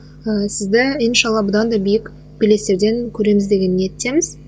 ыыы сізді иншалла бұдан да биік белестерден көреміз деген ниеттеміз